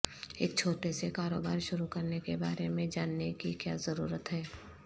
ایک چھوٹے سے کاروبار شروع کرنے کے بارے میں جاننے کی کیا ضرورت ہے